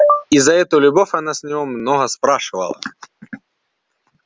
и за эту любовь она с него много спрашивала